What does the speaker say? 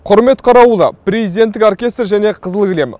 құрмет қарауылы президенттік оркестр және қызыл кілем